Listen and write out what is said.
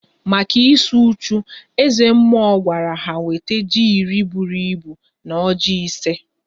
Maka ịsụ uchu, eze mmụọ gwara ha wete ji iri bụrụ ịbụ na ọjị ise